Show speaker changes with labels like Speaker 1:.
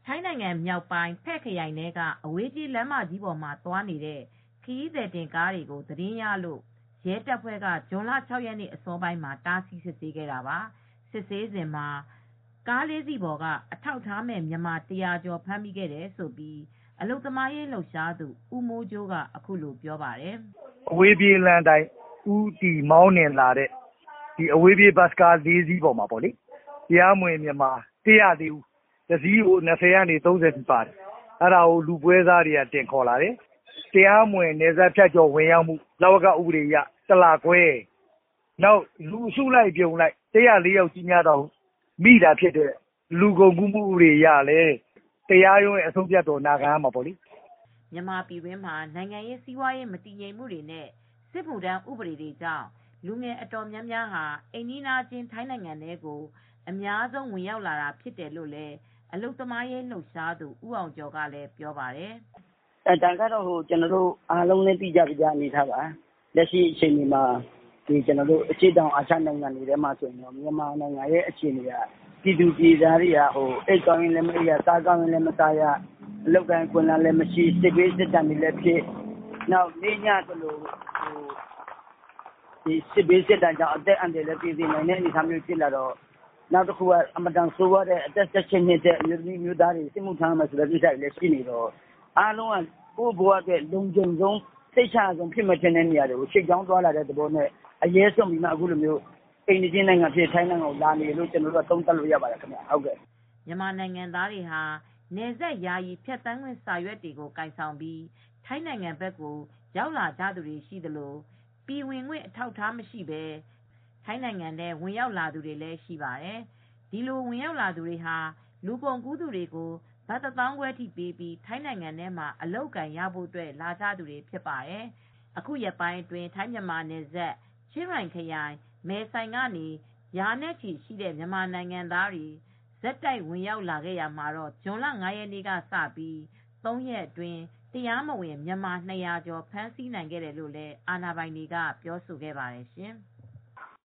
Speaker 1: ထိုင်းနိုင်ငံ မြောက်ပိုင်း Phrae ဖယ့်ခရိုင်ထဲက အဝေးပြေးလမ်းမကြီးပေါ်မှာသွားနေတဲ့ ခရီးသည်တင်ကားတွေကို သတင်းရလို့ ရဲတပ်ဖွဲ့က ဇွန်လ ၆ ရက် အစောပိုင်းမှာ တားဆီး စစ်ဆေးခဲ့တာပါ။ စစ်ဆေးစဉ် ကား ၄စီးပေါ်က အထောက်အထားမဲ့ မြန်မာ ၁၀၀ ကျော်ကို ဖမ်းမိခဲ့တာဖြစ်တယ်လို့ အလုပ်သမားရေးလှုပ်ရှားသူ ဦးမိုးကြိုးက အခုလိုပြောပါတယ်။
Speaker 2: " အဝေးပြေး လမ်းအတိုင်း မောင်းနှင်လာတဲ့ ဘတ်စ်ကား ၄ စီးပေါ်မှာ တရားမဝင် မြန်မာ ၁၀၄ ဦး သယ်လာတယ် တစီးကို လူ ၂၀ ကနေ ၃၀ ကြားထိ ပါတယ်။ အဲဒါကို လူပွဲစားတွေက တင်ခေါ်လာတယ်။ တရားမဝင် နယ်စပ်ဖြတ်ကျော် ဝင်ရောက်မှု လဝက ဥပဒေအရ လူအစုလိုက်အပြုံလိုက် ၁၀၄ ယောက် မိတာဖြစ်လို့ လူကုန်ကူးမှုအရ တရားရုံးရဲ့ အဆုံးအဖြတ်ကို ခံရမှာဖြစ်ပါတယ်
Speaker 1: ။" မြန်မာပြည်တွင်းမှာ နိုင်ငံရေး စီးပွားရေး မတည်ငြိမ်မှုနဲ့ စစ်မှုထမ်းဥပဒေတွေကြောင့် လူငယ်အတော်များများဟာ အိမ်နီးချင်း ထိုင်းနိုင်ငံကို အများဆုံး ဝင်ရောက်လာတာဖြစ်တယ်လို့လည်း အလုပ်သမားအရေး ဆောင်ရွက်နေသူ ဦးအောင်ကျော်ကလည်း ပြောပါတယ်
Speaker 3: ။ " ဒါက အားလုံးသိတဲ့အတိုင်း အရှေ့တောင်အာရှမှာ မြန်မာပြည်သူတွေက အိပ်ကောင်းတာမအိပ်ရ စားကောင်းတာမစားရ စစ်ဘေးစစ်ဒဏ်တွေလည်း ဖြစ်တော့ အသက်အန္တရာယ်တွေလည်း သေစေနိုင်တဲ့အတွက်ကော အသက် ၁၈ နှစ်အထက် အမျိုးသမီး အမျိုးသားတွေလည်း စစ်မှုထမ်းရမယ်ဆိုတဲ့ ဥပဒေလည်း ရှိနေတော့အားလုံးက ကိုယ့်ဘဝအတွက် လုံခြုံရအောင် အရဲစွန့်ပြီး အိမ်နီးချင်း ထိုင်းနိုင်ငံကို ထွက်လာကြတာ ဖြစ်ပါတယ်။
Speaker 1: " မြန်မာနိုင်ငံသားတွေဟာ နယ်စပ်ယာယီဖြတ်သန်းခွင့် စာရွက်တွေကို ကိုင်ဆောင်ပြီး ထိုင်းနိုင်ငံဘက် ရောက်လာကြသူတွေ ရှိသလို၊ ပြည်ဝင်ခွင့် အထောက်အထား မရှိဘဲ ထိုင်းနိုင်ငံထဲ ဝင်ရောက်လာသူတွေလည်း ရှိပါတယ်။ အဲဒီလို ဝင်ရောက်သူတွေဟာ လူကုန်ကူးသူတွေကို ဘတ်ငွေ ၁ သောင်းခွဲအထိပေးပြီး ထိုင်းနိုင်ငံမှာ အလုပ်အကိုင်ရဖို့ လာကြသူတွေဖြစ်ပါတယ်။ အခုရက်ပိုင်းအတွင်း ထိုင်းမြန်မာနယ်စပ် ချင်းရိုင်ခရိုင်၊ မယ်ဆိုင်ကနေ ရာနဲ့ချီတဲ့ မြန်မာနိုင်ငံသားတွေ ဆက်တိုက် ဝင်ရောက်လာနေကြတာမှာ ဇွန်လ ၅ ရက်နေ့ကစပြီး ၃ ရက်အတွင်း တရားမဝင်မြန်မာ ၂၀၀ ကျော် ဖမ်းဆီးနိုင်ခဲ့တယ်လို့ ထိုင်းအာဏာပိုင်တွေက ပြောဆိုပါတယ်ရှင်။